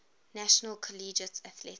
national collegiate athletic